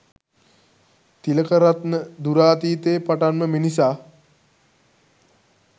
තිලකරත්න "දුරාතීතයේ පටන් ම මිනිසා